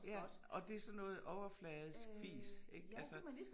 Ja og det sådan noget overfladisk fis ik altså